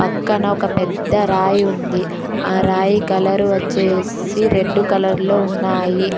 పక్కన ఒక పెద్ద రాయి ఉంది ఆ రాయి కలరు వచ్చేసి రెడ్ కలర్ లో ఉన్నాయి.